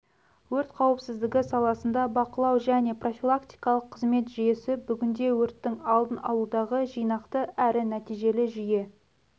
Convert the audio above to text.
өрт қауіпсіздігі саласында бақылау және профилактикалық қызмет жүйесі бүгінде өрттің алдын алудағы жинақты әрі нәтижелі жүйе